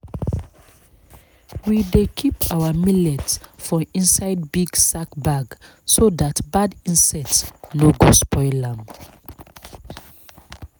we dey keep our millet for inside big sack bag so that bad insect no go spoil am.